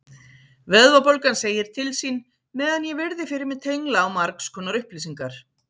Vöðvabólgan segir til sín meðan ég virði fyrir mér tengla á margskonar upplýsingar.